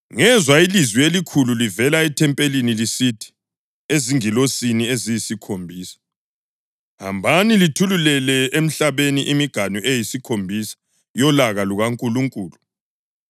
Ngezwa ilizwi elikhulu livelela ethempelini lisithi ezingilosini eziyisikhombisa, “Hambani, lithululele emhlabeni imiganu eyisikhombisa yolaka lukaNkulunkulu.”